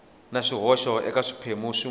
na swihoxo eka swiphemu swin